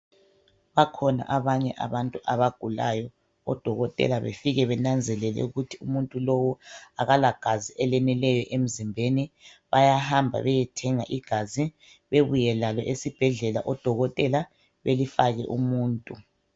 Bakhona abanye abantu abagulayo, odokotela befike benanzelele ukuthi umuntu lo akala gazi eleneleyo emzimbeni, bayahamba beyethenga igazi bebuye lalo esibhedlela odokotela belifake umuntu.